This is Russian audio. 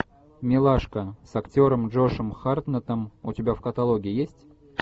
милашка с актером джошем хартнеттом у тебя в каталоге есть